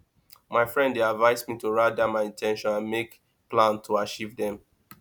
my friend dey advise me to write down my in ten tions and make plan to achieve dem